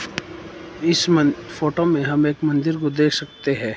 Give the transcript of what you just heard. इस मन फोटो में हम एक मंदिर को देख सकते है।